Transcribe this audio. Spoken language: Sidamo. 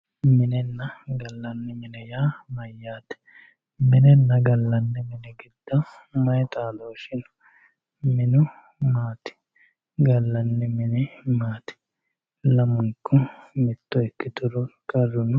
Minenna galanni mine yaa mayatte, minenna galanni mini gido mayi xaadooshi no, minu maati, galanni mini maati, lamunku mitto ikkituro qaru no?